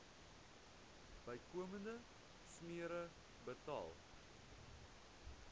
bykomende smere betaal